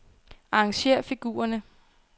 Arrangér figurerne.